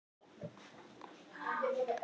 Þetta er fyrsti apríl.